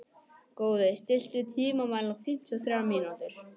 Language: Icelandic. Góði, stilltu tímamælinn á fimmtíu og þrjár mínútur.